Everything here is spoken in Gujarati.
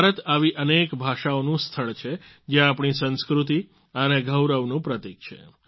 ભારત આવી અનેક ભાષાઓનું સ્થળ છે જે આપણી સંસ્કૃતિ અને ગૌરવનું પ્રતિક છે